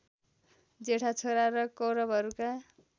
जेठा छोरा र कौरवहरूका